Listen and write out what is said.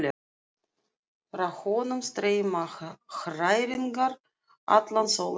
Frá honum streyma hræringar allan sólarhringinn.